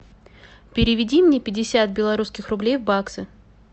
переведи мне пятьдесят белорусских рублей в баксы